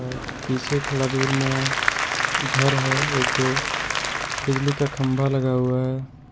पीछे थोड़ा दूर में घर है एक दो बिजली का खंभा लगा हुआ है।